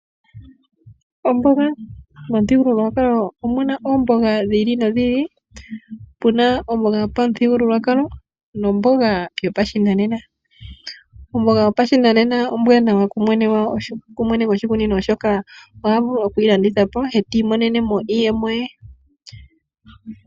Omboga Momuthigululwakalo omuna oomboga dhi ili nodhi ili, puna omboga yopamuthigululwakalo nomboga yopashinanena. Omboga yopashinanena ombwaanawa kumwene goshikunino oshoka oha vulu oku yi landitha po e ti imonene mo iiyemo ye.